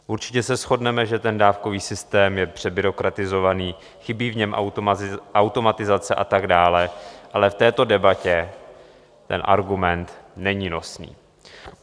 Určitě se shodneme, že ten dávkový systém je přebyrokratizovaný, chybí v něm automatizace a tak dál, ale v této debatě ten argument není nosný.